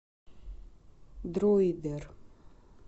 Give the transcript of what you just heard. дройдер